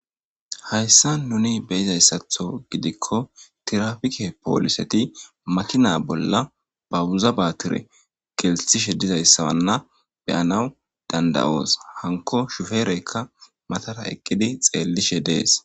Hayssa nuni beyizayssatho gidikko tirafike pooliseti makina bolla babuzabatire geltishe dizayssawanna beyanaw dandayoos hanko shufereykka matara eqqidi xeellishe dees.